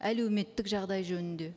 әлеуметтік жағдай жөнінде